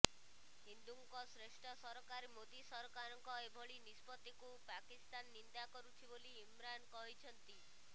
ହିନ୍ଦୁଙ୍କ ଶ୍ରେଷ୍ଠ ସରକାର ମୋଦୀ ସରକାରଙ୍କ ଏଭଳି ନିଷ୍ପତ୍ତିତୁ ପାକିସ୍ତାନ ନିନ୍ଦା କରୁଛି ବୋଲି ଇମ୍ରାନ୍ କହିଛନ୍ତି